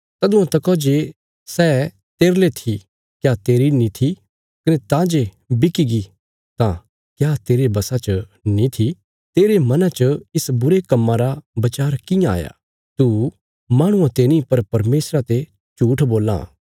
तदुआं तका जे सै तेरले थी क्या तेरी नीं थी कने तां जे बिकीगी तां क्या तेरे वशा च नीं थी तेरे मना च इस बुरे कम्मा रा वचार कियां आया तू माहणुआं ते नीं पर परमेशरा ते झूट्ठ बोलां